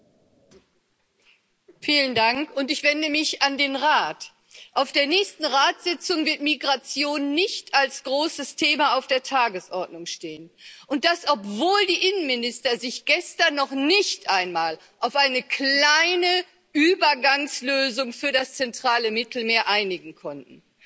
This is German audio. Frau Präsidentin! Ich wende mich an den Rat Auf der nächsten Ratssitzung wird Migration nicht als großes Thema auf der Tagesordnung stehen und das, obwohl die Innenminister sich gestern noch nicht einmal auf eine kleine Übergangslösung für das zentrale Mittelmeer einigen konnten.